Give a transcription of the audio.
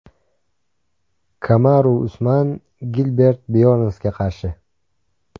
Kamaru Usman Gilbert Byornsga qarshi.